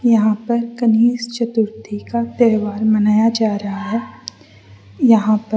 यहां पर गणेश चतुर्थी का त्योहार मनाया जा रहा है यहां पर --